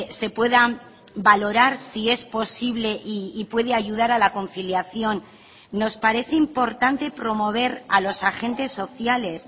se pueda valorar si es posible y puede ayudar a la conciliación nos parece importante promover a los agentes sociales